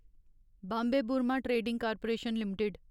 Bombay Burmah trading corporation limited